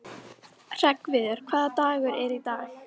Hreggviður, hvaða dagur er í dag?